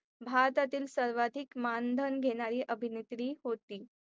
भारतातील सर्वाधिक मानधन घेणारी अभिनेत्री होती.